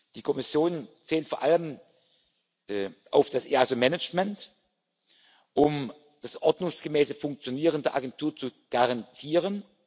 Die Kommission zählt vor allem auf das Management des EASO, um das ordnungsgemäße Funktionieren der Agentur zu garantieren.